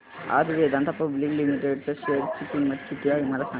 आज Vedanta public limited च्या share ची किंमत किती आहे मला सांगा